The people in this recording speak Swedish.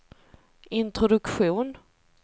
introduktion